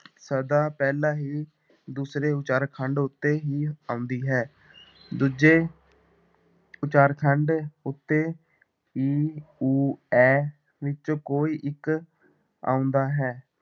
ਸਦਾ ਪਹਿਲਾਂ ਹੀ ਦੂਸਰੇ ਉਚਾਰ ਖੰਡ ਉੱਤੇ ਹੀ ਆਉਂਦੀ ਹੈ, ਦੂਜੇ ਉਚਾਰਖੰਡ ਉੱਤੇ ਈ, ਊ, ਐ ਵਿੱਚੋਂ ਕੋਈ ਇੱਕ ਆਉਂਦਾ ਹੈ।